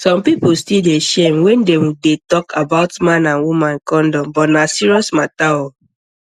some people still dey shame when dem dey talk about man and woman condom but na serious matter oo